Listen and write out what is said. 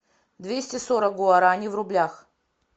двести сорок гуарани в рублях